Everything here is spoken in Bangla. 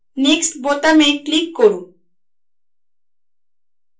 next বোতামে click করুন